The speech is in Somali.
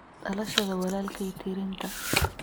dhalashada walaalkay tirinta